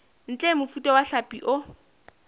ntle mofuta wa hlapi o